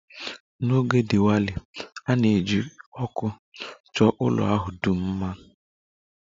N'oge Diwali, a na-eji ọkụ chọọ ụlọ ahụ dum mma